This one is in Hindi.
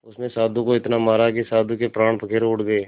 उसने साधु को इतना मारा कि साधु के प्राण पखेरु उड़ गए